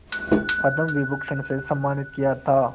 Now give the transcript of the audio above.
पद्म विभूषण से सम्मानित किया था